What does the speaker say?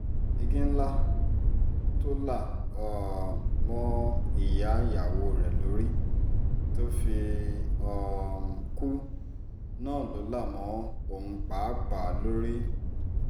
igi ńlá tó là um mọ́ ìyá ìyàwó rẹ̀ lórí tó fi um kú náà ló là mọ́ òun pàápàá lórí